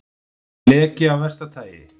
Leki af versta tagi